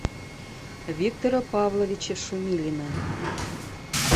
виктора павловича шумилина